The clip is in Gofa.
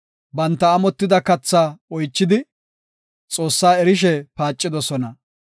Banta amotida kathaa oychidi, Xoossaa erishe paacidosona.